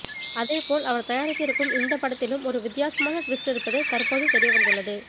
அதே போல் அவர் தயாரித்து இருக்கும் இந்தப் படத்திலும் ஒரு வித்தியாசமான டுவிஸ்ட் இருப்பது தற்போது தெரிய வந்துள்ளது